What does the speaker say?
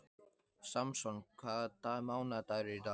Samson, hvaða mánaðardagur er í dag?